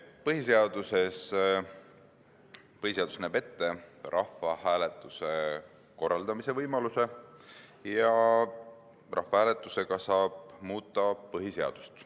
Põhiseadus näeb ette rahvahääletuse korraldamise võimaluse, ja rahvahääletusega saab muuta ka põhiseadust.